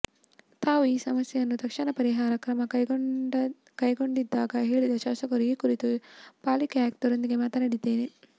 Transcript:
ತಾವು ಈ ಸಮಸ್ಯೆಯನ್ನು ತಕ್ಷಣ ಪರಿಹರಿಸಲು ಕ್ರಮ ಕೈಗೊಂಡಿದ್ದಾಗಿ ಹೇಳಿದ ಶಾಸಕರು ಈ ಕುರಿತು ಪಾಲಿಕೆ ಆಯುಕ್ತರೊಂದಿಗೆ ಮಾತನಾಡಿದ್ದೇನೆ